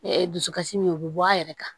dusukasi min o be bɔ a yɛrɛ kan